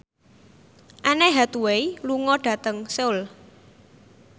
Anne Hathaway lunga dhateng Seoul